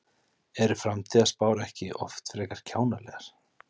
Eru framtíðarspár ekki oft frekar kjánalegar?